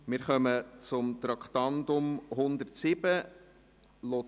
Wir kommen zum Traktandum 107: